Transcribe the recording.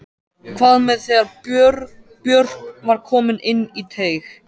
Hvað með þegar Björk var komin inn í teig?